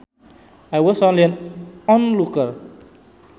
I was only an onlooker